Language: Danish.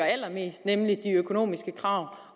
allermest nemlig de økonomiske krav